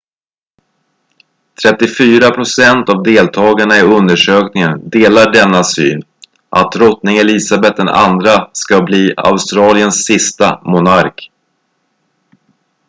34 procent av deltagarna i undersökningen delar denna syn att drottning elisabeth ii ska bli australiens sista sista monark